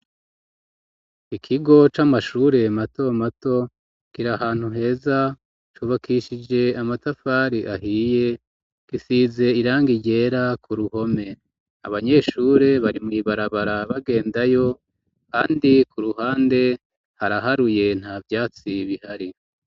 Ikigo c'amashure mato mato kiri ahantu heza cubakishije amatafari ahiye gisize irangi ryera ku ruhome abanyeshure bari mw'ibarabara bagendayo kandi ku ruhande haraharuye nta vyatsi bihari.